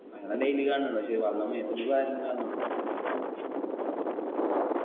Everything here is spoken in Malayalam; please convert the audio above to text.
അങ്ങന daily കാണണിണ്ട് പക്ഷെ വെള്ളം മേത്തൂടിക്ക് വാരന്നില്ലാന്നേ ഉള്ളൂ